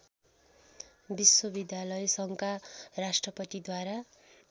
विश्वविद्यालय सङ्घका राष्ट्रपतिद्वारा